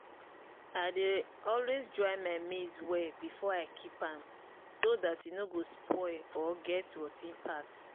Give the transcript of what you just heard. i dey always dry my maize well before i keep am so dat e no go spoil or get rot ten part.